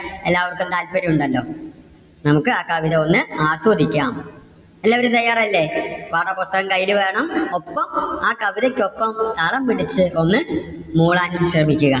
എല്ലാവർക്കും താല്പര്യം ഉണ്ടല്ലോ. നമുക്ക് ആ കവിത ഒന്ന് ആസ്വദിക്കാം. എല്ലാവരും തയ്യാറല്ലേ? പാഠപുസ്തകം കയ്യില് വേണം. ഒപ്പം ആ കവിതയ്ക്ക് ഒപ്പം താളം പിടിച്ച് ഒന്ന് മൂളാൻ ശ്രമിക്കുക.